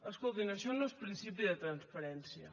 escoltin això no és principi de transparència